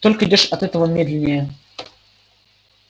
только идёшь от этого медленнее